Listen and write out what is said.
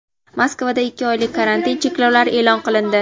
Moskvada ikki oylik karantin cheklovlari e’lon qilindi.